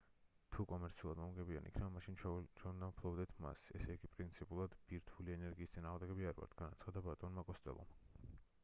თუ კომერციულად მომგებიანი იქნება მაშინ ჩვენ უნდა ვფლობდეთ მას ესე იგი პრინციპულად ბირთვული ენერგიის წინააღმდეგი არ ვართ - განაცხადა ბატონმა კოსტელომ